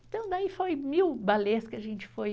Então daí foi mil balés que a gente foi.